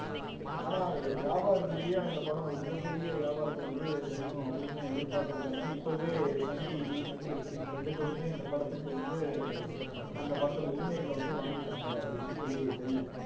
ஆனா வியாபார ரீதியா இந்த படம் ஒரு மிகப்பெரிய வியாபாரத்தை வந்து செய்யும் அப்படின்னு எதிர்பார்த்திருக்காங்க இப்பவே சன் TV நெட்ஃபில்க்ஸ் இவங்க ரெண்டு பேருமே இந்த படத்துக்கு வந்து அந்த படத்தோட உரிமைகளை வந்து வாங்கிட்டாங்க அப்படின்னு சொல்லி தெரியுது